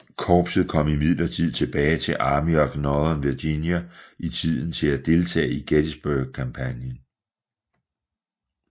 Korpset kom imidlertid tilbage til Army of Northern Virginia i tide til at deltage i Gettysburg kampagnen